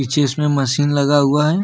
जिसमें मशीन लगा हुआ है।